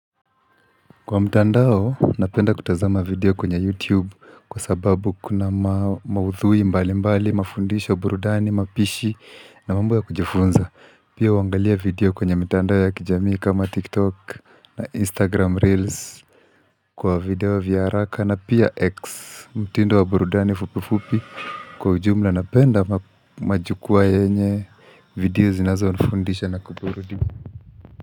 Kwa mtandao, napenda kutazama video kwenye YouTube kwa sababu kuna maudhui mbalimbali, mafundisho, burudani, mapishi na mambo ya kujifunza. Pia huangalia video kwenye mitandao ya kijamii kama TikTok na Instagram Reels kwa video vya haraka na pia X mtindo wa burudani fupifupi kwa ujumla napenda majukwaa yenye video zinazonifundisha na kuburudi.